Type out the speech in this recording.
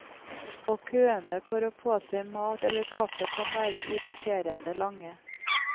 Og køene for å få seg mat eller kaffe kan være irriterende lange.